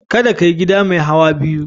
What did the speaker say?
Kada ka yi gida mai hauwa biyu.